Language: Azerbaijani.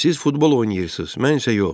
Siz futbol oynayırsız, mən isə yox.